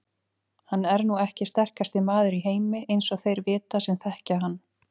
Hann er nú ekki sterkasti maður í heimi eins og þeir vita sem þekkja hann.